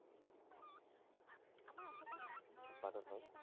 উৎপাদন হয়